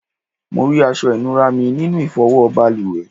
Mó rí aṣọ inura mí nínú ifowo baluwe